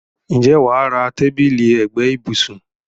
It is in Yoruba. Ǹjẹ́ wà á ra tábìlì ẹ̀gbẹ́ ibùsùn.